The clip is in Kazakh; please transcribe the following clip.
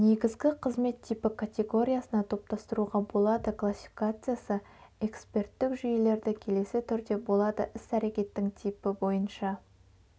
негізгі қызмет типі категориясына топтастыруға болады классификациясы эксперттік жүйелерді келесі түрде болады іс-әрекеттің типі бойынша